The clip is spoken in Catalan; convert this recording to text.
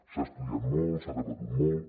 s’ha estudiat molt s’ha debatut molt